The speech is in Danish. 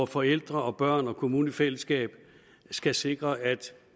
forældre børn og kommune i fællesskab skal sikre at